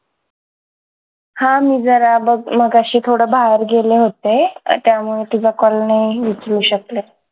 हा मी जरा बघ मगाशी थोडं बाहेर गेले होते त्यामुळे तुझा call नाही उचलू शकले